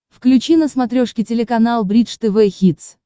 включи на смотрешке телеканал бридж тв хитс